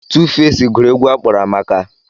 Tuufeci gụrụ egwu a kpọrọ Amaka.